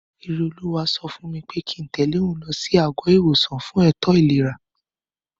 Ìrètí sọ fún mi pé kíi n tẹ̀lé òun lọ sí àgọ́-ìwòsàn náà fún ètò ìlera